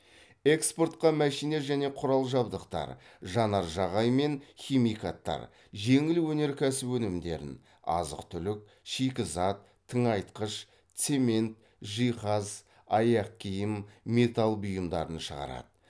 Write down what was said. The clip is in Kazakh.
экспортқа мәшине және құрал жабдықтар жанар жағаймен химикаттар жеңіл өнеркәсіп өнімдерін азық түлік шикізат тыңайтқыш цемент жиһаз аяқкиім металл бұйымдарын шығарады